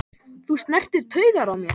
Þú snertir taugar í mér.